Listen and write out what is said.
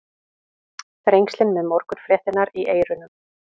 Þrengslin með morgunfréttirnar í eyrunum.